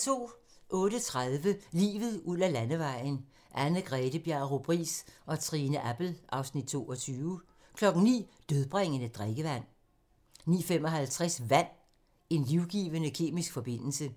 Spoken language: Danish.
08:30: Livet ud ad landevejen: Anne-Grethe Bjarup Riis og Trine Appel (Afs. 22) 09:00: Dødbringende drikkevand 09:55: Vand - En livgivende kemisk forbindelse